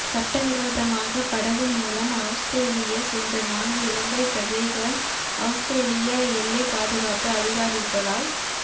சட்டவிரோதமாக படகு மூலம் அவுஸ்திரேலியா சென்ற நான்கு இலங்கை பிரஜைகள் அவுஸ்திரேலிய எல்லை பாதுகாப்பு அதிகாரிகளால் தி